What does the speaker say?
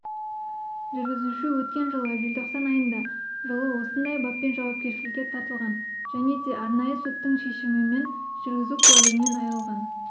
жүргізуші өткен жылы желтоқсан айында жылы осындай баппен жауапкершілікке тартылған және де арнайы соттың шешімімен жүргізу куәлігінен айрылған